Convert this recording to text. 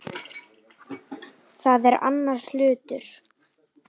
Það er annar hlutur.